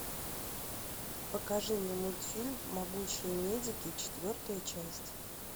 покажи мне мультфильм могучие медики четвертая часть